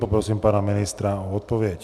Poprosím pana ministra o odpověď.